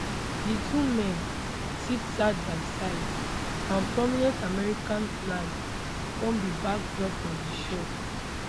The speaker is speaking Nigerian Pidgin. di two men sit side by side and prominent american flags form di backdrop of di shot